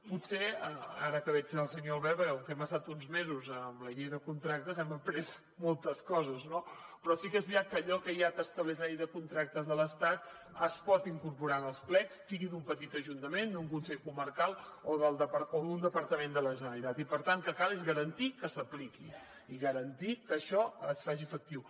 potser ara que veig al senyor albert perquè com que hem estat uns mesos amb la llei de contractes hem après moltes coses no però sí que és veritat que allò que ja estableix la llei de contractes de l’estat es pot incorporar en els plecs sigui d’un petit ajuntament d’un consell comarcal o d’un departament de la generalitat i per tant el que cal és garantir que s’apliqui i garantir que això es faci efectiu